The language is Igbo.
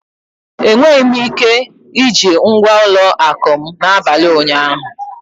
Enweghị m ike iji ngwa ụlọ akụ m n'abalị ụnyaahụ.